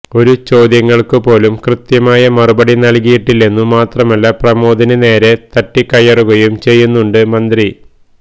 ഒരു ചോദ്യങ്ങൾക്കു പോലും കൃത്യമായ മറുപടി നൽകിയിട്ടില്ലെന്നു മാത്രമല്ല പ്രമോദിന് നേരെ തട്ടിക്കയറുകയും ചെയ്യുന്നുണ്ട് മന്ത്രി